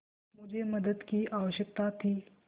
मुझे मदद की आवश्यकता थी